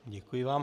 Děkuji vám.